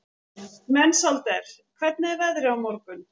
Mensalder, hvernig er veðrið á morgun?